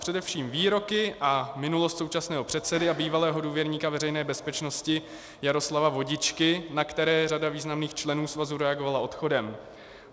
Především výroky a minulost současného předsedy a bývalého důvěrníka Veřejné bezpečnosti Jaroslava Vodičky, na které řada významných členů svazu reagovala odchodem.